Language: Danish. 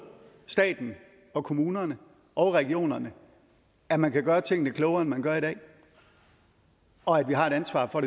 staten og kommunerne og regionerne at man kan gøre tingene klogere end man gør i dag og at vi har et ansvar for